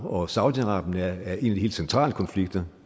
og saudi arabien er en af de centrale konflikter